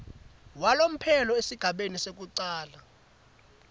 walomphelo esigabeni sekucala